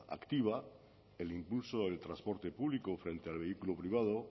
activa el impulso del transporte público frente al vehículo privado